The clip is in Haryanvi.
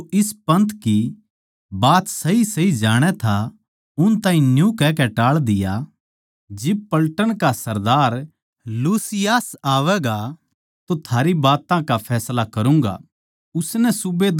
फेलिक्स नै जो इस पन्थ की बात सहीसही जाणै था उन ताहीं न्यू कहकै टाळ दिया जिब पलटन का सरदार लूसियास आवैगा तो थारी बात का फैसला करूँगा